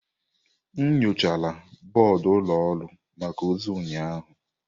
M nyochara bọọdụ ụlọ ọrụ maka ozi ụnyaahụ.